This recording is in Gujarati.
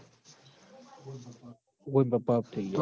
હઓ ઈન પપ્પા off થઈ ગ્યા